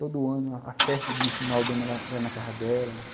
Todo ano, a festa de final de ano era era na casa dela.